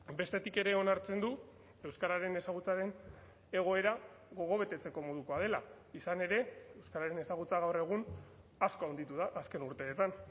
bestetik ere onartzen du euskararen ezagutzaren egoera gogo betetzeko modukoa dela izan ere euskararen ezagutza gaur egun asko handitu da azken urteetan